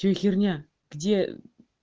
что за херня где